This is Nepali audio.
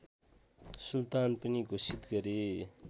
सुल्तान पनि घोषित गरे